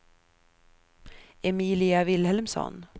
Emilia Vilhelmsson